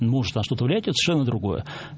может на что то влиять это совершенно другое